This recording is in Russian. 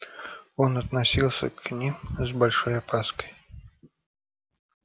он относился к ним с большой опаской